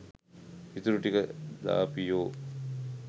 ඉතුරු ටික දාපියෝ